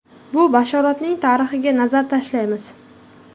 Bu bashoratning tarixiga nazar tashlaymiz.